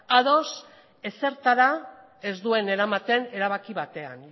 ados ezertara ez duen eramaten erabaki batean